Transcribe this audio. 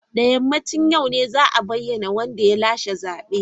Da yammacin yau ne za a bayyana wanda ya lashe zaben.